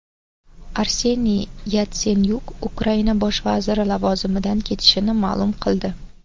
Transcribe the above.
Arseniy Yatsenyuk Ukraina bosh vaziri lavozimidan ketishini ma’lum qildi.